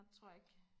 tror jeg ikke